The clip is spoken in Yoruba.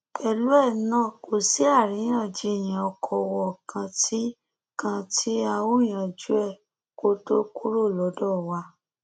pẹlú ẹ náà kò sí àríyànjiyàn ọkọọwọ kan tí kan tí a ò yanjú ẹ kó tóó kúrò lọdọ wa